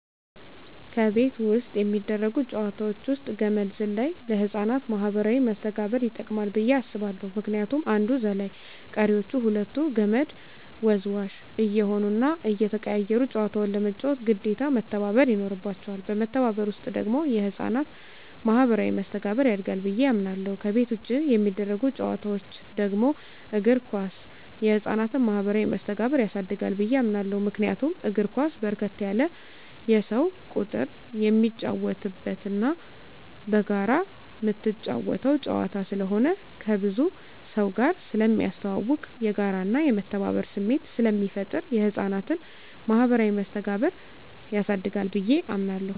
ከቤት ውስጥ የሚደረጉ ጨዋታወች ውስጥ ገመድ ዝላይ ለህፃናት ማኀበራዊ መስተጋብር ይጠቅማ ብየ አስባለሁ ምክንያቱም አንዱ ዘላይ ቀሪወች ሁለቱ ከመድ ወዝዋዥ እየሆኑና እየተቀያየሩ ጨዋታውን ለመጫወት ግዴታ መተባበር ይኖርባቸዋል በመተባበር ውስጥ ደግሞ የህፃናት ማኋበራዊ መስተጋብር ያድጋል ብየ አምናለሁ። ከቤት ውጭ የሚደረጉ ጨዋታወች ደግሞ እግር ኳስ የህፃናትን ማህበራዊ መስተጋብር ያሳድጋል ብየ አምናለሁ። ምክንያቱም እግር ኳስ በርከት ያለ የሰው ቁጥር የሚጫወትበትና በጋራ ምትጫወተው ጨዋታ ስለሆነ ከብዙ ሰውጋር ስለሚያስተዋውቅ፣ የጋራና የመተባበር ስሜት ስለሚፈጥር የህፃናትን ማኀበራዊ መስተጋብር ያሳድጋል ብየ አምናለሁ።